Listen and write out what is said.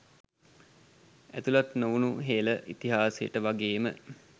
ඇතුලත් නොවුණු හෙළ ඉතිහාසයට වගේම